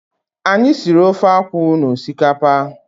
Anyị siri ofe akwụ na osikapa.